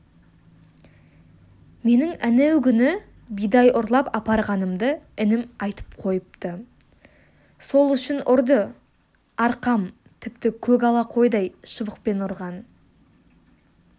менің әнеугүнгі бидай ұрлап апарғанымды інім айтып қойыпты сол үшін ұрды арқам тіпті көк ала қойдай шыбықпен ұрған